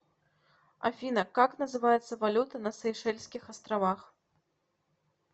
афина как называется валюта на сейшельских островах